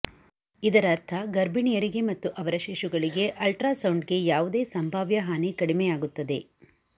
ಇದರರ್ಥ ಗರ್ಭಿಣಿಯರಿಗೆ ಮತ್ತು ಅವರ ಶಿಶುಗಳಿಗೆ ಅಲ್ಟ್ರಾಸೌಂಡ್ಗೆ ಯಾವುದೇ ಸಂಭಾವ್ಯ ಹಾನಿ ಕಡಿಮೆಯಾಗುತ್ತದೆ